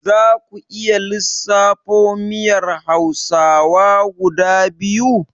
Zaku iya lissafo miyar hausawa guda biyu?